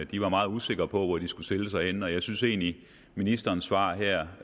de var meget usikre på hvor de skulle stille sig henne og jeg synes egentlig at ministerens svar her